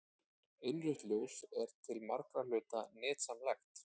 Innrautt ljós er til margra hluta nytsamlegt.